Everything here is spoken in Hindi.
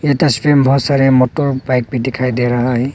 ये तस्वीर में बहुत सारे मोटर बाइक भी दिखाई दे रहा है।